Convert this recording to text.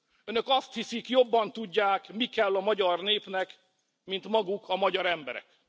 Önök azt hiszik, jobban tudják, mi kell a magyar népnek, mint maguk a magyar emberek.